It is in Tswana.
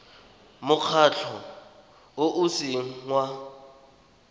mokgatlho o o seng wa